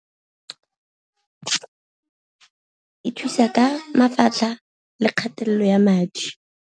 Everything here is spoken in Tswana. E thusa ka mafatlha le kgatelelo ya madi.